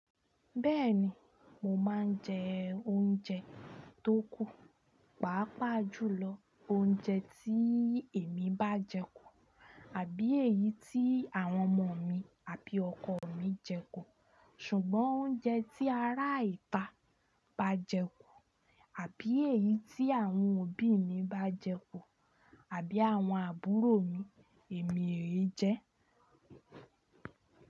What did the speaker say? Bẹ́ẹ̀ni, mo máa ń jẹ oúnjẹ tó kù, pàápàá jùlọ oúnjẹ tí èmi bá jẹ kù àbí èyí tí àwọn ọmọ mi àbí ọkọ mi jẹ kù, ṣùgbọ́n oúnjẹ tí ará ìtá bá jẹ kù àbí èyí tí àwọn òbí mi bá jẹ kù àbí àwọn àbúrò mi, èmi è jẹ.